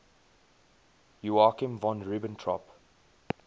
joachim von ribbentrop